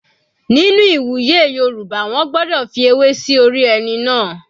Nínú ìwúyè Yorùbá wọ́n gbọ́dọ̀ fi ewé sí orí ẹni náà.